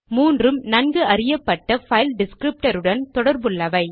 மூன்றும் நன்கு அறியப்பட்ட பைல் டிஸ்க்ரிப்டருடன் தொடர்புள்ளவை